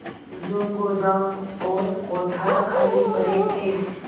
जो गोदाम और कोठार खाली पड़े थे